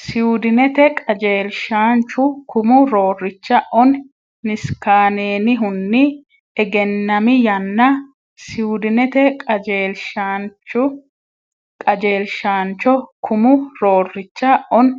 Siwidinete qajeelshaancho kumu roorricha Oni Niskaanenihunni egennami yanna Siwidinete qajeelshaancho kumu roorricha Oni